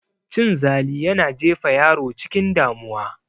Cin zali yana jefa yaro cikin damuwa